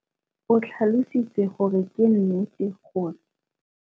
O tlhalositse gore ke nnete gore.